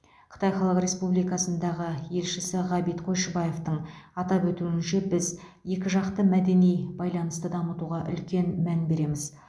қытай халық республикасындағы елшісі ғабит қойшыбаевтың атап өтуінше біз екі жақты мәдени байланысты дамытуға үлкен мән береміз